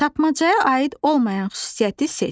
Tapmacaya aid olmayan xüsusiyyəti seç.